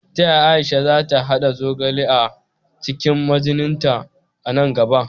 Ta yaya Aisha za ta haɗa zogale a cikin magininta a nan gaba?